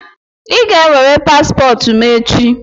Ị ga-ewere paspọtụ m echi!